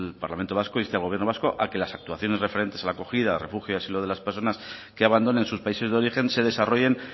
parlamento vasco inste al gobierno vasco a que las actuaciones referentes a la acogida refugio y asilo de las personas que abandonen sus países de origen se desarrollen